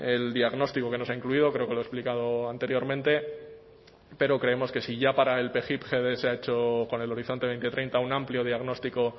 el diagnóstico que no se ha incluido creo que lo he explicado anteriormente pero creemos que si ya para el pgipgb se ha hecho con el horizonte dos mil treinta un amplio diagnóstico